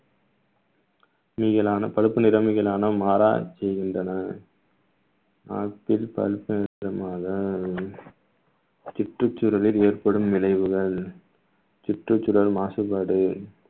நீங்களான பழுப்பு நிறமிகளான மாற செய்கின்றன சுற்றுச்சூழலில் ஏற்படும் விளைவுகள் சுற்றுச்சூழல் மாசுபாடு